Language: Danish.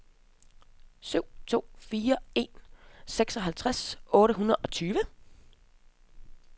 syv to fire en seksoghalvtreds otte hundrede og tyve